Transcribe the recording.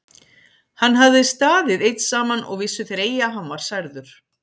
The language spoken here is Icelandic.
Hann hafði staðið einn saman og vissu þeir eigi að hann var særður.